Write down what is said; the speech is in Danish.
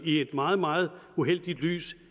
i et meget meget uheldigt lys